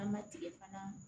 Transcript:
An ma tigɛ fana